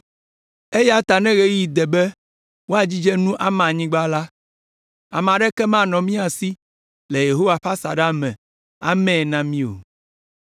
Eya ta ne ɣeyiɣi de be woadzidze nu ama anyigba la, ame aɖeke manɔ mía si le Yehowa ƒe asaɖa me amae na mí o.